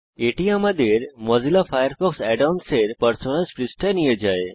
এটি আমাদের Mozilla Firefox add ons এর পারসোনাস পৃষ্ঠায় নিয়ে যায়